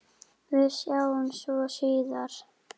Við sjáumst svo síðar.